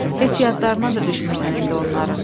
Heç yadlarına da düşmürsən indi onların.